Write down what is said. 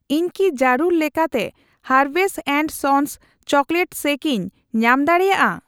ᱤᱧ ᱠᱤ ᱡᱟᱹᱨᱩᱲ ᱞᱮᱠᱟᱛᱮ ᱦᱟᱨᱵᱷᱮᱥ ᱮᱱᱰ ᱥᱚᱱᱥ ᱪᱚᱠᱞᱮᱴ ᱥᱮᱠ ᱤᱧ ᱧᱟᱢ ᱫᱟᱲᱮᱭᱟᱜᱼᱟ ?